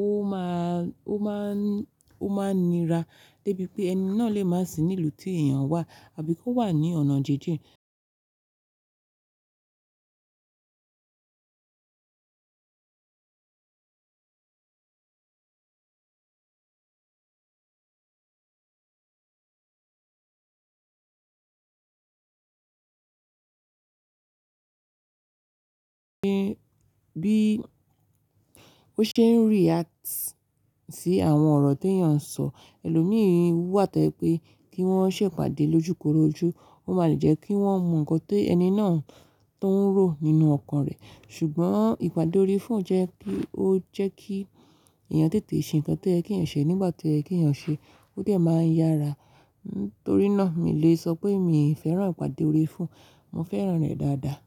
ó máa, ó máa, ó máa nira débi pé ẹni náà lè má sì nílùú tí èèyàn wà àbí kó wà ní ọ̀nà jinjin. Bí ó ṣe ń react sí àwọn ọ̀rọ̀ ti èèyàn ń sọ. Ẹlòmíì wà tó jẹ pé kí wọ́n ṣé ìpàdé lójúkorojú, ó máa lè jẹ́ kí wọ́n mọ ǹkan tó ẹni náà tó ń ro nínú ọkàn rẹ̀. Ṣùgbọ́n ìpàdé ori fọ́ọ̀nù jẹ́ kí ó jẹ́ kí èèyàn tètè ṣe ǹkan tó yẹ ki eyàn ṣe nígbà tó yẹ ke eyàn ṣe, ó dẹ máa ń yára. Nítorí náà mi lè sọ pé mi fẹ́ran ìpàdé ori fọ́ọ̀nù. Mo fẹ́ran rẹ̀ dáadáa.